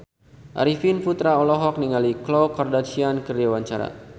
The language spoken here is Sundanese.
Arifin Putra olohok ningali Khloe Kardashian keur diwawancara